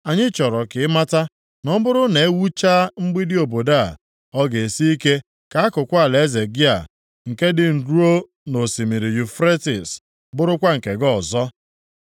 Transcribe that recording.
Anyị chọrọ ka ị mata na ọ bụrụ na e wuchaa mgbidi obodo a, ọ ga-esi ike ka akụkụ alaeze gị a, nke dị ruo nʼosimiri Yufretis, bụrụkwa nke gị ọzọ.